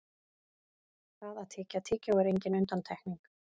það að tyggja tyggjó er engin undantekning